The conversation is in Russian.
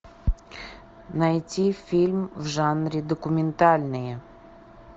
найти фильм в жанре документальные